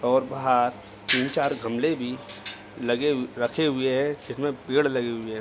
और बाहर तीन चार गमले भी लगे रखे हुए हैं इसमें पेड़ लगे हुए है।